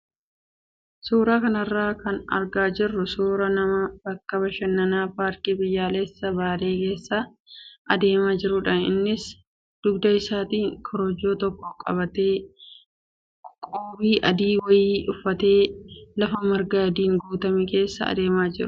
Suuraa kanarraa kan argaa jirru suuraa nama bakka bashannanaa paarkii biyyoolessaa baalee keessa adeemaa jirudha. Innis dugda isaatti korojoo tokko qabatee qoobii adii wayii uffatee lafa marga adiin guutame keessa adeemaa jira.